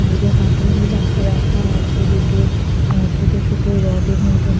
বাইরে হাটুরি লাখা রাখা আছে দুটো অ্যা ছোট ছোট রড -এর মতন।